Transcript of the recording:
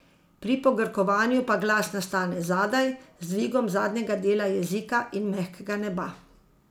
Pri pogrkovanju pa glas nastane zadaj, z dvigom zadnjega dela jezika in mehkega neba.